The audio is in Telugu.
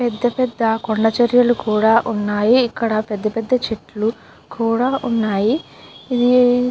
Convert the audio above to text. పెద్ద పెద్ద కొండ చర్యలు కూడా ఉన్నాయి. ఇక్కడ పెద్ద పెద్ద చెట్లు కూడా ఉన్నాయి. ఇది --